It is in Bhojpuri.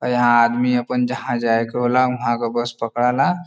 आ यहां आदमी आपन जहां जाए के होला वहां के बस पकड़ेला।